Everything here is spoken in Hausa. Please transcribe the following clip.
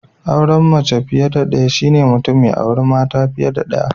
Auren mace fiye da daya shi ne Mutum ya auri mata fiye da daya.